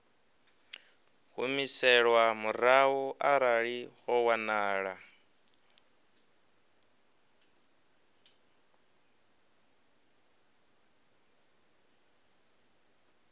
humiselwa murahu arali ho wanala